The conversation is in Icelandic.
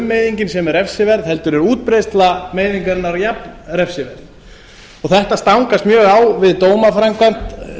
frummeiðingin sem er refsiverð heldur er útbreiðsla meiðingarinnar jafn refsiverð þetta stangast mjög á við dómaframkvæmd